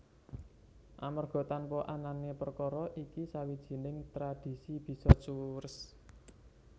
Amerga tanpa anané perkara iki sawijining tradhisi bisa cures